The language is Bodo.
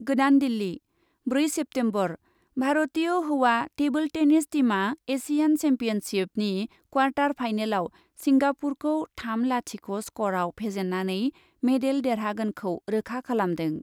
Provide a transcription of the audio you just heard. गोदान दिल्ली, ब्रै सेप्तेम्बर, भारतीय हौवा टेबोल टेनिस टीमआ एसियान सेम्पियनशिपनि क्वार्टार फाइनालाव सिंगापुरखौ थाम लाथिख' स्क'रआव फेजेन्नानै मेडेल देरहागोनखौ रोखा खालामदों।